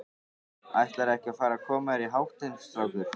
Ætlarðu ekki að fara að koma þér í háttinn, strákur?